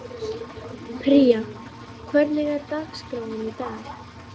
Pría, hvernig er dagskráin í dag?